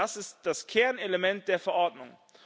Das ist das Kernelement der Verordnung.